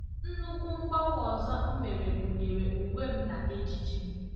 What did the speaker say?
Nnukwu mgbanwe ọzọ m mere gụnyere uwe m na ejiji m.